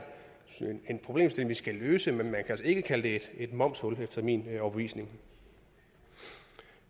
problemstilling vi skal løse men man kan altså ikke kalde det et momshul efter min overbevisning